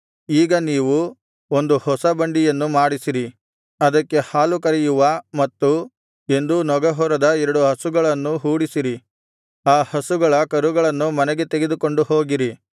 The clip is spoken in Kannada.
ಈಗ ನೀವು ಒಂದು ಹೊಸ ಬಂಡಿಯನ್ನು ಮಾಡಿಸಿರಿ ಅದಕ್ಕೆ ಹಾಲು ಕರೆಯುವ ಮತ್ತು ಎಂದೂ ನೊಗಹೊರದ ಎರಡು ಹಸುಗಳನ್ನು ಹೂಡಿಸಿರಿ ಆ ಹಸುಗಳ ಕರುಗಳನ್ನು ಮನೆಗೆ ತೆಗೆದುಕೊಂಡು ಹೋಗಿರಿ